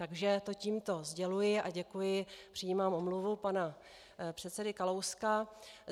Takže to tímto sděluji a děkuji, přijímám omluvu pana předsedy Kalouska.